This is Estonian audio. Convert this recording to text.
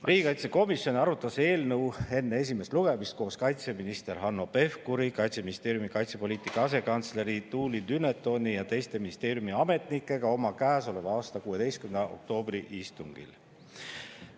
Riigikaitsekomisjon arutas eelnõu enne esimest lugemist koos kaitseminister Hanno Pevkuri, Kaitseministeeriumi kaitsepoliitika asekantsleri Tuuli Dunetoni ja teiste ministeeriumi ametnikega oma käesoleva aasta 16. oktoobri istungil.